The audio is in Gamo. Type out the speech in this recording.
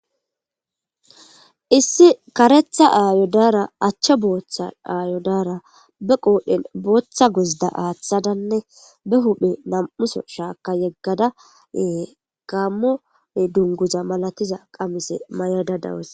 Issi karetha aayo daara achcha booththa aayo daara be qoodhen booththa guzda aaththadanne be huuphe nam7uso shaakka yeggada ee gammo dungguza malatiza qamise mayada dawus.